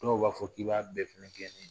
Dɔw b'a fɔ k'i b'a bɛɛ fɛnɛ gɛn nin